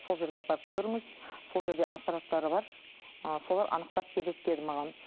сол жерге апарып көріңіз сол жерде аппараттары бар ы солар анықтап береді деді маған